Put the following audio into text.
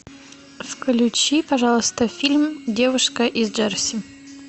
включи пожалуйста фильм девушка из джерси